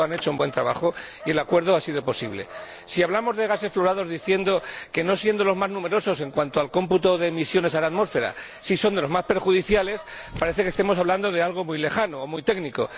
Por tanto, han hecho un buen trabajo y el acuerdo ha sido posible. Si hablamos de gases fluorados diciendo que, no siendo los más numerosos en cuanto al cómputo de emisiones a la atmósfera, sí son de los más perjudiciales, parece que estemos hablando de algo muy lejano o muy técnico.